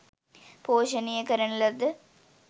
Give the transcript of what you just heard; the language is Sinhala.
පෝෂණය කරන ලද